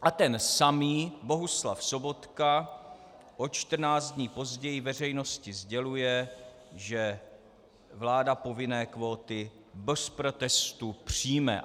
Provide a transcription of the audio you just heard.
A ten samý Bohuslav Sobotka o čtrnáct dní později veřejnosti sděluje, že vláda povinné kvóty bez protestu přijme.